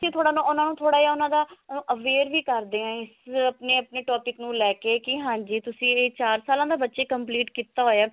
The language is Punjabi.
ਕੀ ਉਹਨਾਂ ਨੂੰ ਥੋੜਾ ਜਾ ਉਹਨਾਂ ਦਾ aware ਵੀ ਕਰਦੇ ਆ ਇਸ ਆਪਣੇ ਆਪਣੇ ਓਪਿਕ ਨੂੰ ਲਈ ਕੇ ਕੀ ਹਾਂਜੀ ਤੁਸੀਂ ਚਾਰ ਸਾਲਾਂ ਦਾ ਬੱਚੇ complete ਕੀਤਾ ਹੋਇਆ